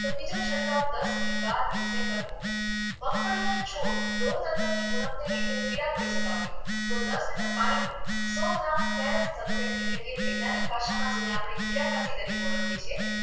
તો બીજો છંટકાવ દસથી બાર દિવસે કરવો મગફળીના છોડ લોહતત્વની ઉણપને લીધે પીળાંં પડી જતા હોય છે તો દસ લિટર પાણીમાં સો ગ્રામ ફેરસ સલ્ફેટ એટલે કે વૈજ્ઞાનિક ભાષામાં જેને આપણે કિરાક્રતી તરીકે ઓળખીએ છીએ